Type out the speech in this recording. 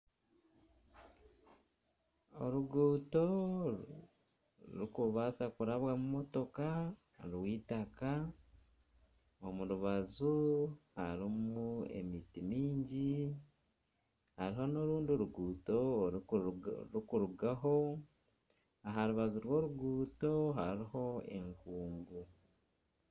Oruguuto orurikubaasa kurabwamu motoka rw'eitaka omu rubaju harimu emiti mingi hariho n'otundi ruguuto orurikurugaho aha rubaju rw'oruguuto hariho enkungu.